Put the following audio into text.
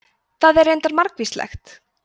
það er reyndar margvíslegt